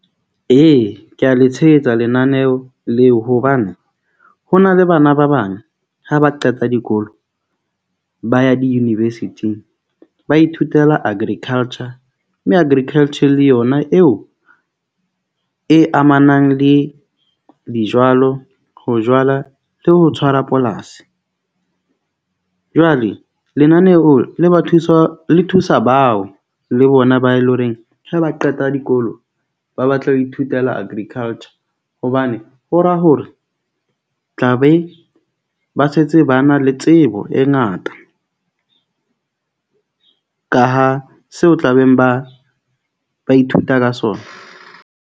Ee, ke a le tshehetsa lenaneo leo hobane ho na le bana ba bang ha ba qeta dikolo. Ba ya di-university-ng ba ithutela agriculture. Mme agriculture le yona eo e amanang le dijwalo, ho jwala le ho tshwara polasi. Jwale lenaneo le ba thusa le thusa bao le bona ba e leng horeng ha ba qeta dikolo. Ba batle ho ithutela agriculture hobane ho ra hore tla be ba setse ba na le tsebo e ngata, ka ha seo tlabeng ba ba ithuta ka sona.